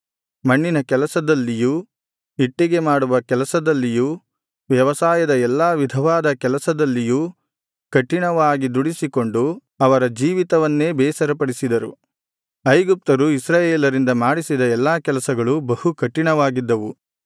ಮಣ್ಣಿನ ಕೆಲಸದಲ್ಲಿಯೂ ಇಟ್ಟಿಗೆಮಾಡುವ ಕೆಲಸದಲ್ಲಿಯೂ ವ್ಯವಸಾಯದ ಎಲ್ಲಾ ವಿಧವಾದ ಕೆಲಸದಲ್ಲಿಯೂ ಕಠಿಣವಾಗಿ ದುಡಿಸಿಕೊಂಡು ಅವರ ಜೀವಿತವನ್ನೇ ಬೇಸರಪಡಿಸಿದರು ಐಗುಪ್ತರು ಇಸ್ರಾಯೇಲರಿಂದ ಮಾಡಿಸಿದ ಎಲ್ಲಾ ಕೆಲಸಗಳು ಬಹಳ ಕಠಿಣವಾಗಿದ್ದವು